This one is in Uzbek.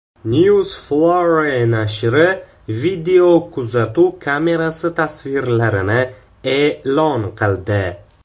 Newsflare nashri videokuzatuv kamerasi tasvirlarini e’lon qildi.